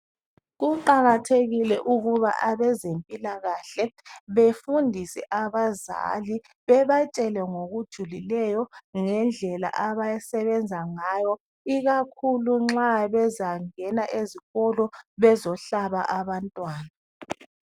Kuqakathekile ukuba abezempilakahle befundise abazali, bebatshele ngokujulileyo ngendlela abasebenza ngayo, ikakhulu nxa bezangena ezikolo bezohlaba abantwana.